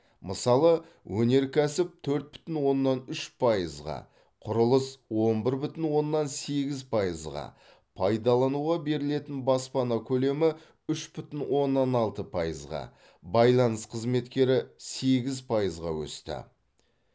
мысалы өнеркәсіп төрт бүтін оннан үш пайызға құрылыс он бір бүтін оннан сегіз пайызға пайдалануға берілетін баспана көлемі үш бүтін оннан алты пайызға байланыс қызметтері сегіз пайызға өсті